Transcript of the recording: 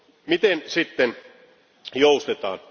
Miten sitten joustetaan?